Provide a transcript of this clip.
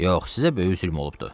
Yox, sizə böyük zülm olubdur.